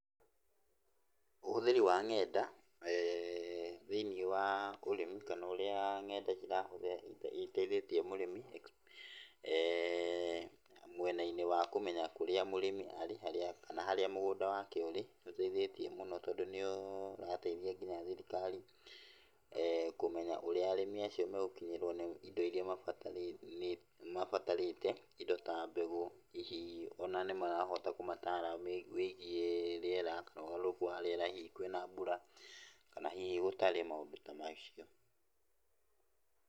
Ũhũthĩri wa nenda thĩini wa ũrĩmi kana ũrĩa kana ũrĩa nenda citeithĩtie mũrĩmi mwena-inĩ wa kũmenya harĩa mũrĩmi arĩ kana harĩa mũgũnda wake ũrĩ. Nĩ ũteithĩtie mũno tondũ nĩ ũrateithia nginya thirikari kũmenya ũrĩa arĩmi acio megũkinyĩrwo nĩ indo iria mabatarĩte, indo ta mbegũ. Hihi ona nĩ marahota kũmatara wĩgiĩ rĩera kana ũgarũrũku wa rĩera, hihi kwĩna mbura kana hihi gũtarĩ. Maũndũ ta macio.